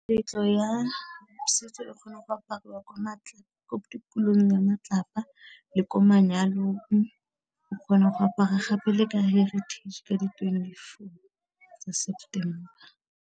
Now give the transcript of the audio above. Meletlo ya setso, di kgona go apariwa ko ya matlapa, le ko manyalong, o kgona go apara gape le ka heritage ka di twenty-four tsa September.